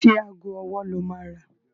Ṣé ago ọwọ́ lo máa rà?